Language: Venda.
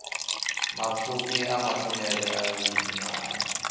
mapfufhi a mathomele o livhanywa